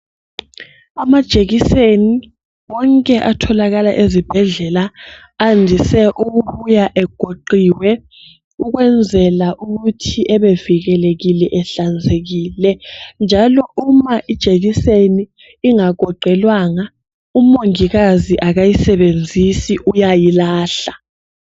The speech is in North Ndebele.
Amajekiseni wonke atholakala ezibhedlela andise ukubuya egoqiwe ukwenzela ukuthi ebevikelekile ehlanzekile njalo uma ijekiseni ingagoqelwanga umongikazi akayisebenzisi uyayilahla.